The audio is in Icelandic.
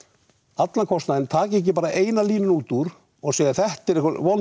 allan kostnaðinn taki ekki bara eina línu út úr og segja þetta er einhver vond